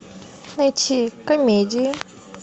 найти комедии